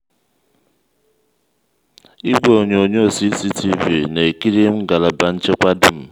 igwe onyonyo cctv na-ekiri ngalaba nchekwa dum.